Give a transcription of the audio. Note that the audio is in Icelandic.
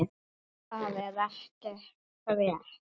Það er ekki frétt.